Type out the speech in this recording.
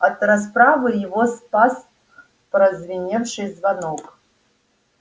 от расправы его спас прозвеневший звонок